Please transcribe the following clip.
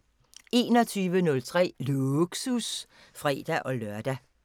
21:03: Lågsus (fre-lør)